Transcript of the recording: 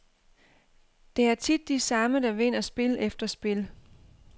Det er tit de samme, der vinder spil efter spil.